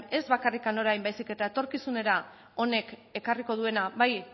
ez bakarrik orain baizik eta etorkizunera honek ekarriko duena bai